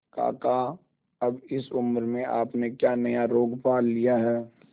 काका अब इस उम्र में आपने क्या नया रोग पाल लिया है